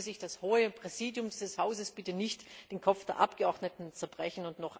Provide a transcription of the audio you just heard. können. Deswegen möge sich das Präsidium des Hauses bitte nicht den Kopf der Abgeordneten zerbrechen.